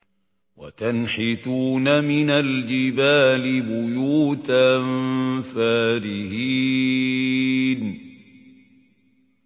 وَتَنْحِتُونَ مِنَ الْجِبَالِ بُيُوتًا فَارِهِينَ